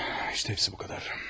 Bax, hamısı bu qədərdir.